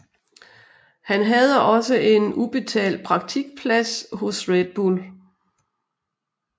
Han havde også en ubetalt praktikplads hos Red Bull